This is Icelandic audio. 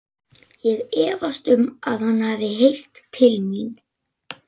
Ég efast um, að hann hafi heyrt til mín.